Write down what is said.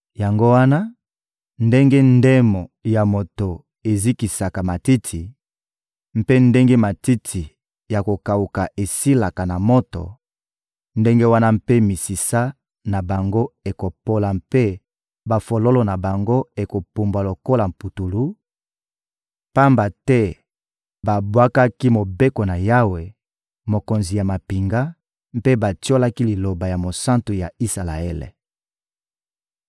Yango wana, ndenge ndemo ya moto ezikisaka matiti, mpe ndenge matiti ya kokawuka esilaka na moto, ndenge wana mpe misisa na bango ekopola mpe bafololo na bango ekopumbwa lokola putulu, pamba te babwakaki Mobeko na Yawe, Mokonzi ya mampinga, mpe batiolaki liloba ya Mosantu ya Isalaele.